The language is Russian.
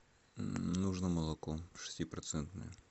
нужно молоко шестипроцентное